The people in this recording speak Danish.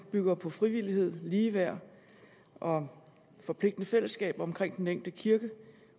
bygger på frivillighed ligeværd og forpligtende fællesskaber omkring den enkelte kirke